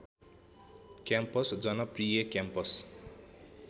campus जनप्रिय campus